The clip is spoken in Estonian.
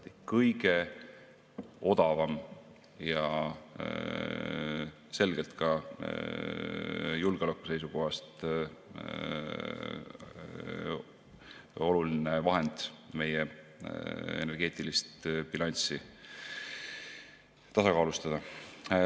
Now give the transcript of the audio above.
See on kõige odavam ja selgelt ka julgeoleku seisukohast oluline vahend, et meie energeetilist bilanssi tasakaalustada.